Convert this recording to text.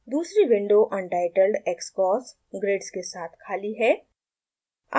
दूसरी window untitledxcos grids के साथ खाली है